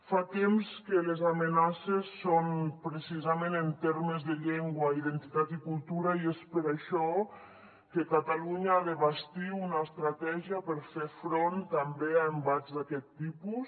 fa temps que les amenaces són precisament en termes de llengua identitat i cultura i és per això que catalunya ha de bastir una estratègia per fer front també a embats d’aquest tipus